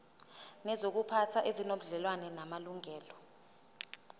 nezokuziphatha ezinobudlelwano namalungelo